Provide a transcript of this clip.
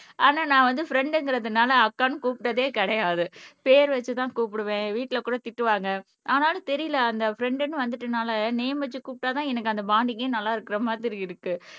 ஆனா நான் வந்து ஃப்ரண்ட்ங்கறதுனால அக்கான்னு கூப்பிட்டதே கிடையாது பேர் வச்சு தான் கூப்பிடுவேன் வீட்ல கூட திட்டுவாங்க ஆனாலும் தெரியலை அந்த ஃப்ரண்ட்ன்னு வந்துட்டுனாலே நேம் வைச்சி கூபிட்ட தான் எனக்கு அந்த பாண்டிங்கே நல்லா இருக்குற மாதிரி இருக்கு